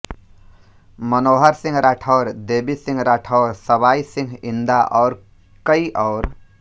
मनोहर सिंह राठौर देवी सिंह राठौर सवाई सिंह इंदा और कई और